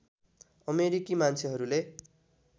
अमेरिकी मान्छेहरूले